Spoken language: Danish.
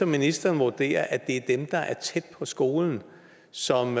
ministeren vurderer at det er dem der er tæt på skolen som